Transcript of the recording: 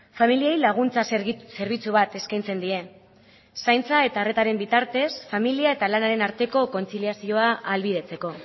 familiei laguntza zerbitzu bat eskaintzen die zaintza eta arretaren bitartez familia eta lanaren arteko kontziliazioa ahalbidetzeko